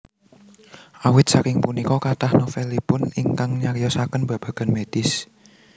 Awit saking punika kathah novelipun ingkang nyariyosaken babagan medis